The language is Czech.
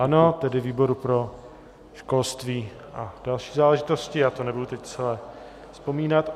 Ano, tedy výboru pro školství a další záležitosti, já to nebudu teď celé vzpomínat.